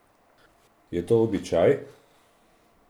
Je to običaj?